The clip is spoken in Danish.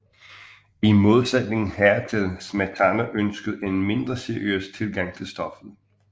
I modsætning hertil Smetana ønskede en mindre seriøs tilgang til stoffet